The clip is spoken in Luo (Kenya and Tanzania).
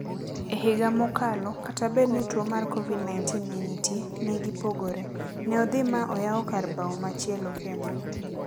Ehiga mokalo, kata bed ni tuo mar Covid-19 ne nitie, negipogore. Neodhi ma oyao kar bao machielo kendo.